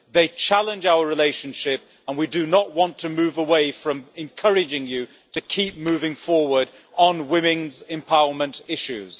They challenge our relationship and we do not want to move away from encouraging you to keep moving forward on women's empowerment issues.